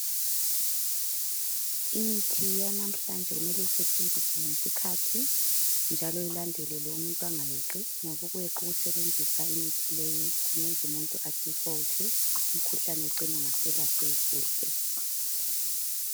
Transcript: Imithi yalamhlanje mele isetshenziwe ngesikhathi njalo ilandelelwe umuntu angayeqi ngoba ukweqa ukusebenzisa imithi leyi kungenza umuntu a default umkhuhlane ucine ungaselapheki kuhle